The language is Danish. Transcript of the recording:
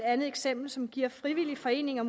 andet eksempel som giver frivillige foreninger